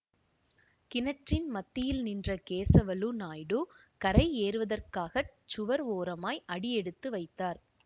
கிணற்றின் மத்தியில் நின்ற கேசவலு நாயுடு கரை ஏறுவதற்காகச் சுவர் ஓரமாய் அடிஎடுத்து வைத்தார்